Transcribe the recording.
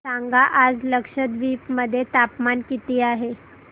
सांगा आज लक्षद्वीप मध्ये तापमान किती आहे